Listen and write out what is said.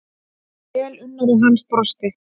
Velunnari hans brosti.